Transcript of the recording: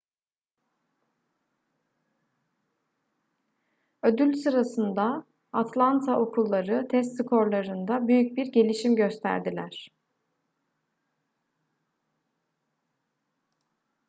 ödül sırasında atlanta okulları test skorlarında büyük bir gelişim gösterdiler